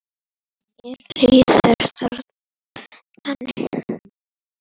Mér líður þannig.